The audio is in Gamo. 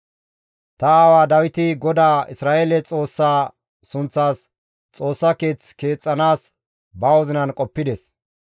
«Ta aawa Dawiti GODAA Isra7eele Xoossaa sunththas Xoossa keeth keexxanaas ba wozinan qoppides.